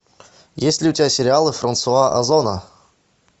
есть ли у тебя сериалы франсуа озона